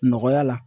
Nɔgɔya la